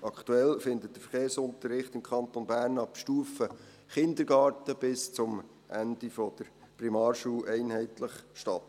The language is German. Aktuell findet der Verkehrsunterricht im Kanton Bern ab Stufe Kindergarten bis zum Ende der Primarschule einheitlich statt.